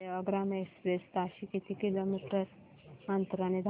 Sevagram express ताशी किती kilometre अंतराने धावते